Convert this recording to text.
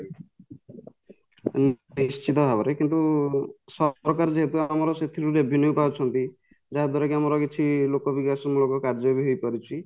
ଉଁ ନିଶ୍ଚିତ ଭାବରେ କିନ୍ତୁ ସରକାର ଯେହେତୁ ଆମର ସେଥିରୁ revenue ପାଉଛନ୍ତି ଯାହା ଦ୍ୱାରା ଆମର କିଛି ଲୋକ ବିକାଶ ମୂଳକ କାର୍ଯ୍ୟବି ହେଇପାରୁଛି